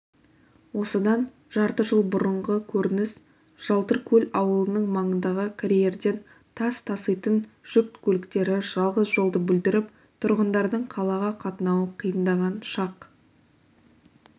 осыдан жарты жыл бұрынғы көрініс жалтыркөл ауылының маңындағы карьерден тас таситын жүк көліктері жалғыз жолды бүлдіріп тұрғындардың қалаға қатынауы қиындаған шақ